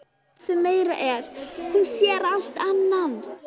Og það sem meira er: hún sér allt annan!?